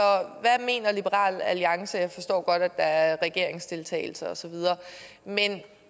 hvad mener liberal alliance jeg forstår godt at der er regeringsdeltagelse osv men